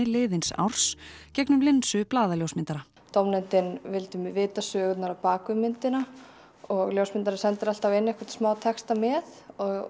liðins árs gegnum linsu blaðaljósmyndara dómnefndin vildi vita söguna á bak við myndina og ljósmyndarinn sendir alltaf inn einhvern smá texta með